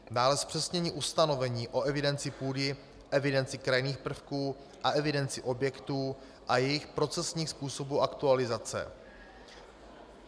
Dále zpřesnění ustanovení o evidenci půdy, evidenci krajinných prvků a evidenci objektů a jejich procesních způsobů aktualizace.